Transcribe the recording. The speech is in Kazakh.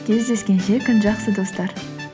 кездескенше күн жақсы достар